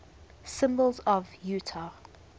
symbols of utah